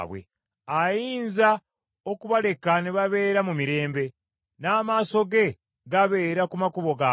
Ayinza okubaleka ne babeera mu mirembe n’amaaso ge gabeera ku makubo gaabwe.